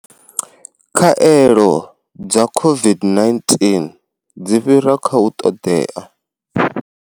Khaelo dza COVID-19 dzi fhira kha u ṱoḓea.